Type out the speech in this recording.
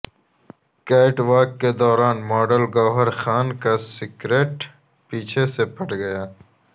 Kate walk کے دوران model Gauahar Khan کا سکرٹ پیچھے سے پھٹ گیا